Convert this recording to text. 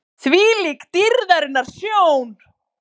ÞVÍLÍK DÝRÐARINNAR SJÓN!